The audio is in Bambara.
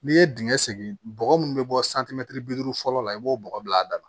N'i ye dingɛ segin bɔgɔ munnu bɛ bɔ bi duuru fɔlɔ la i b'o bɔgɔ bila a da la